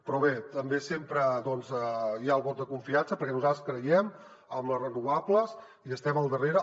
però bé també sempre hi ha el vot de confiança perquè nosaltres creiem en les renovables hi estem al darrere